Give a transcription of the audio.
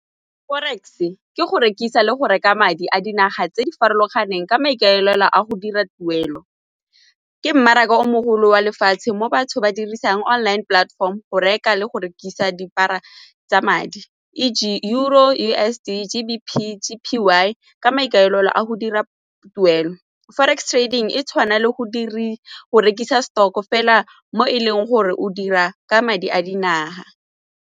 Forex e ke go rekisa le go reka madi a dinaga tse di farologaneng ka maikaelelo a go dira tuelo. Me mmaraka o mogolo wa lefatshe mo batho ba dirisang online platform go reka le go rekisa tsa madi E G Euro, U_S_D, G_B_P, G_P_Y ka maikaelelo a go dira tuelo. Forex trading e tshwanang le go rekisa stock-o fela mo e leng gore o dira ka madi a dinaga.